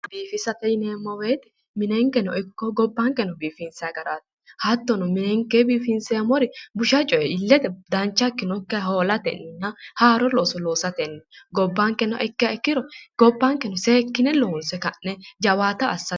biifisa yineemmo woyte minenkeno ikko gobbankeno biifinsay garaati hattono minekke biifinseemmori busha coye illete dancha ikkinokkiha hoolatenna haaro looso loosatenni gobbankeno ikko gobbanke seekine loonse jawaata assate.